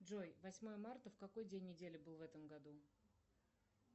джой восьмое марта в какой день недели был в этом году